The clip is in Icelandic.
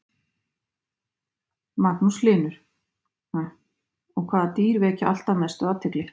Magnús Hlynur: Og hvaða dýr vekja alltaf mestu athygli?